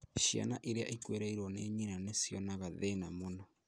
Ciana iria ikuĩrĩirwo nĩ nyina nĩcionaga thĩna muno